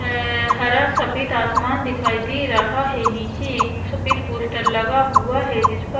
अअअ हरा सफेद आसमान दिखाई दे रहा है नीचे एक सफेद पोस्टर लगा हुआ है जिस पर--